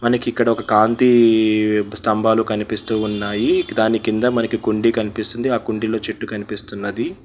మనకు ఇక్కడ ఒక కాంతి స్తంభాలు కనిపిస్తూ ఉన్నాయి దాని కింద మనకి కుండి కనిపిస్తుంది ఆ కుండీలో చెట్టు కనిపిస్తున్నది.